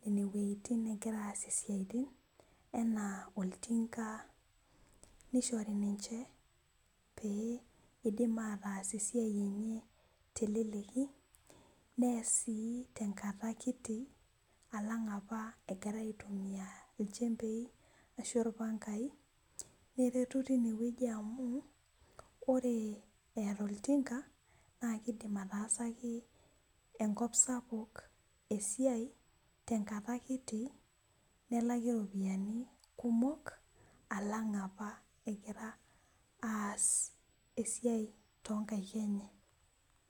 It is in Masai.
nene wejitin negira aunie edaa enaa oltinga, nishori nichee pee ees esiai teleleki nees sii tengata kiti alang apa egira aitumiya ilchembei , ashu ilpangai , amu ore eeta oltinga naakidim ataasaki enkop sapuk esiai tengata kiti nelaki iropiyiani kumok alang apa egira aas esisi toonkaik enye.